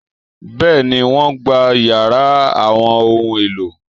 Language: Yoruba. Bẹ́ẹ̀ni, wọ́n gbá yàrá àwọn ohun-èlò